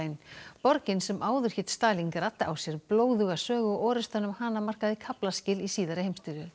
borgin sem áður hét Stalíngrad á sér blóðuga sögu og orrustan um hana markaði kaflaskil í síðari heimsstyrjöld